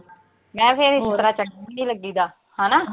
ਮੈਂ ਲੱਗੀ ਦਾ, ਹਨਾ?